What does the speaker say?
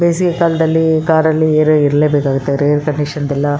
ಬೇಸಿಗೆ ಕಾಲದಲ್ಲಿ ಕಾರ್ ಅಲ್ಲಿ ಏರೋ ಇರ್ಲೇ ಬೇಕಾಗುತ್ತೆ ರೇರ್ ಕಂಡೀಶನ್ ದೆಲ್ಲ-